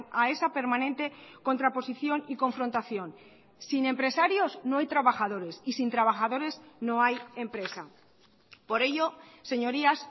a esa permanente contraposición y confrontación sin empresarios no hay trabajadores y sin trabajadores no hay empresa por ello señorías